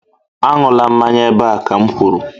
Aṅụla mmanya ebe a ka m kwuru